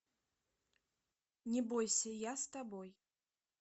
не бойся я с тобой